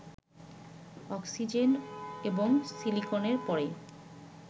oxygen এবং সিলিকনের পরেই